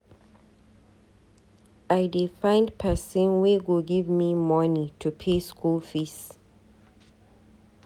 I dey find pesin wey go give me moni to pay school fees.